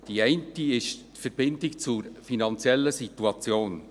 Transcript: Der eine ist die Verbindung zur finanziellen Situation.